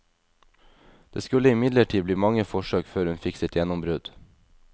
Det skulle imidlertid bli mange forsøk før hun fikk sitt gjennombrudd.